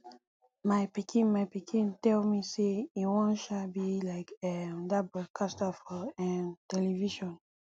my pikin my pikin tell me say e wan um be like um dat broadcaster for um television